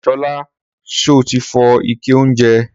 Sọla sọtí fọ ìké ounjẹ?